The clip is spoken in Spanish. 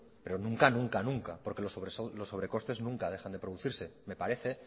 pero nunca nunca nunca porque los sobrecostes nunca dejan de producirse me parece